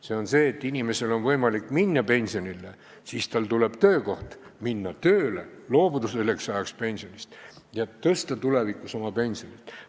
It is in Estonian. See on ka see, et inimesel on võimalik minna pensionile ja kui ta saab töökoha, siis minna tööle, loobuda selleks ajaks pensionist ja tõsta tulevikus saadavat pensionit.